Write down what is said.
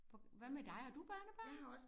Hvad med dig har du børnebørn?